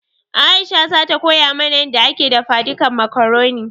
Aisha zata koya mana yanda ake dafadikan makaroni